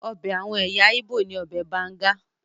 Ọbẹ̀ àwọn ẹ̀yà Igbo ni ọbẹ̀ banga.